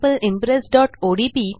sample impressओडीपी